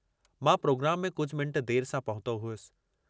मां प्रोग्राम में कुझ मिनट देर सां पहुतो हुअसि।